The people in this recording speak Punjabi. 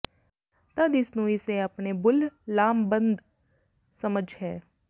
ਤਦ ਇਸ ਨੂੰ ਇਸੇ ਆਪਣੇ ਬੁੱਲ੍ਹ ਲਾਮਬੰਦ ਸਮਝ ਹੈ